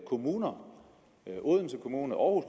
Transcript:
kommuner odense kommune og